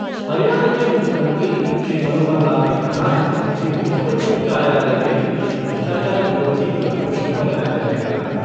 हरियाणा के मुख्यमंत्री, श्री मनोहर लाल ने कहा है कि मुख्यमंत्री कार्यालय में एक भ्रष्टाचार विरोधी प्रकोष्ठ बनाया जायेगा।